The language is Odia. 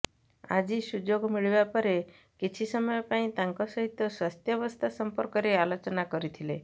ଆଜି ସୁଯୋଗ ମିଳିବା ପରେ କିଛି ସମୟ ପାଇଁ ତାଙ୍କ ସହିତ ସ୍ୱାସ୍ଥ୍ୟାବସ୍ଥା ସମ୍ପର୍କରେ ଆଲୋଚନା କରିଥିଲେ